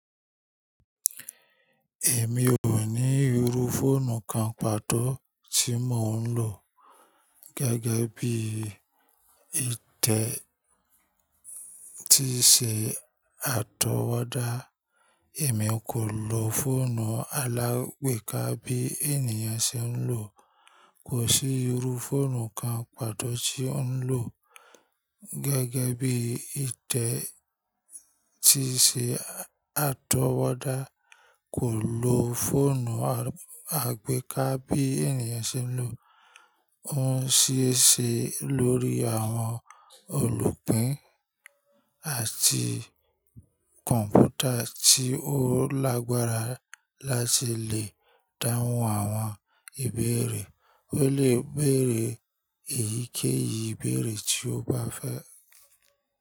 Èmi ò ní irú fóònù kan pàtó tí mò ń lò gẹ́gẹ́ bí ìtẹ́ tí ṣe àtọwọ́dá. Èmi kò lo fóònù alágbèéká bí ènìyàn ṣe ń lò. Kò sí irú fóònù kan pàtó tí ò ń lò gẹ́gẹ́ bí ìtẹ́ tí ṣe àtọwọ́dá. Kò lo fóònù àgbéká bí ènìyàn ṣe ń lò. Ó ń ṣe é ṣe lórí àwọn olùpín àti kọ̀ǹpútà tí ó lágbára láti lè dáhùn àwọn ìbéèrè. Ó lè béèrè èyíkéyìí ìbéèrè tí ó bá fẹ́.